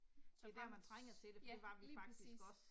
Det er der man trænger til det for det var vi faktisk også